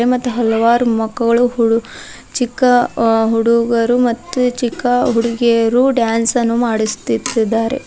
ಮತ್ತು ಹಲವಾರು ಮಕ್ಕಳು ಚಿಕ್ಕ ಹುಡುಗರು ಮತ್ತು ಚಿಕ್ಕ ಹುಡುಗಿಯರು ಡ್ಯಾನ್ಸ ನ್ನು ಮಾಡಿಸುತ್ತಿದ್ದಾರೆ.